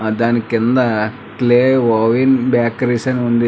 ఆ దానికింద clay oven bakeries అని ఉంది.